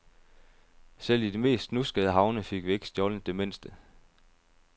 Selv i de mest snuskede havne fik vi ikke stjålet det mindste.